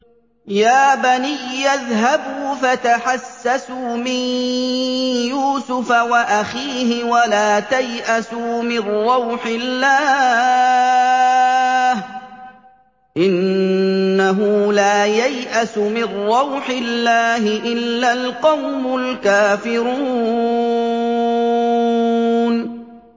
يَا بَنِيَّ اذْهَبُوا فَتَحَسَّسُوا مِن يُوسُفَ وَأَخِيهِ وَلَا تَيْأَسُوا مِن رَّوْحِ اللَّهِ ۖ إِنَّهُ لَا يَيْأَسُ مِن رَّوْحِ اللَّهِ إِلَّا الْقَوْمُ الْكَافِرُونَ